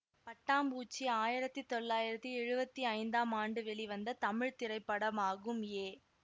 பட்டாம்பூச்சி ஆயிரத்தி தொள்ளாயிரத்தி எழுவத்தி ஐந்தாம் ஆண்டு வெளிவந்த தமிழ் திரைப்படமாகும் ஏ